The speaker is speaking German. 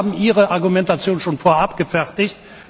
Aber Sie haben Ihre Argumentation schon vorab gefertigt.